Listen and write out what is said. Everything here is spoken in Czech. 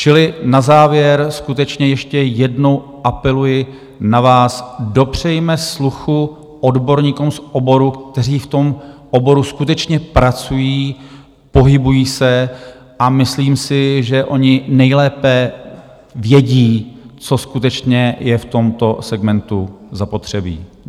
Čili na závěr skutečně ještě jednou apeluji na vás, dopřejme sluchu odborníkům z oboru, kteří v tom oboru skutečně pracují, pohybují se, a myslím si, že oni nejlépe vědí, co skutečně je v tomto segmentu zapotřebí.